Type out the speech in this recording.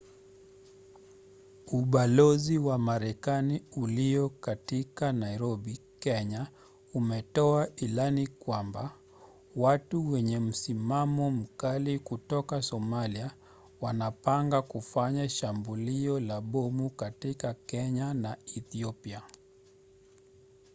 ubalozi wa marekani ulio katika nairobi kenya umetoa ilani kwamba watu wenye msimamo mkali kutoka somalia wanapanga kufanya shambulio la bomu katika kenya na ethiopia